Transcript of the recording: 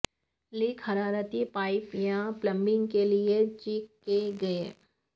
leak حرارتی pipe یا plumbing لئے چیک کئے گئے